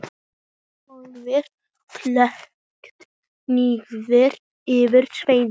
Hófið- Klókt nýyrði yfir svindl?